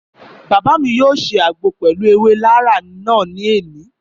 Bàbá mi yóò ṣe àgbo pẹlu ewé laraa náà ní òní